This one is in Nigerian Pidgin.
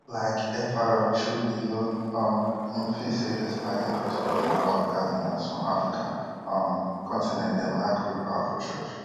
like fr chu ilo um im feel say despite increase for di number of cardinals from african um continent dem lack real power for church